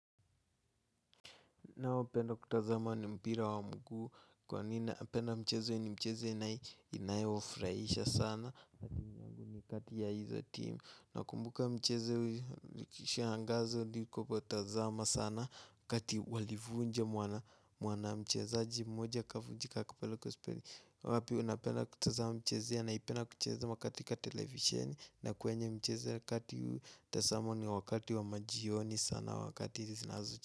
Ninaopenda kutazama ni mpira wa mguu kwani napenda mcheze ni mcheze inayofurahisha sana kati ya hizo team nakumbuka mchezo ikiisha angazo ni kupa utazama sana kati walivunja mwanamchezaji mmoja kavunjika kwa baiskeli. Wapi unapenda kutazama mchezea? Naipenda kutazama katika televisheni na kwenye mchezea kati mtazamo ni wakati wa majioni sana wakati zinazo.